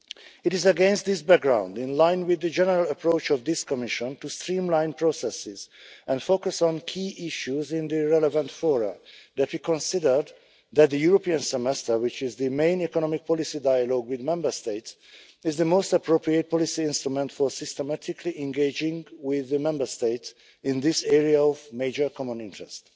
It is against this background, in line with the general approach of this Commission to streamline processes and focus on key issues in the relevant fora, that we considered that the European Semester, which is the main economic policy dialogue with Member States, is the most appropriate policy instrument for systematically engaging with the Member States in this area of major common interest.